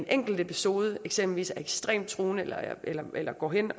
enkelt episode eksempelvis er ekstremt truende eller eller går hen